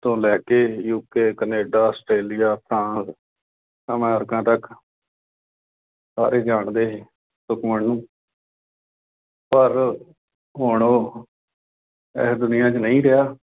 ਤੋਂ ਲੈ ਕੇ U. K, Canada, Australia, France, America ਤੱਕ ਸਾਰੇ ਜਾਣਦੇ, ਸੁਖਮਨ ਨੂੰ ਪਰ ਹੁਣ ਉਹ, ਇਸ ਦੁਨੀਆਂ ਚ ਨਹੀਂ ਰਿਹਾ।